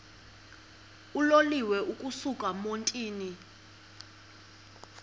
uloliwe ukusuk emontini